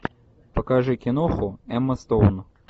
покажи киноху эмма стоун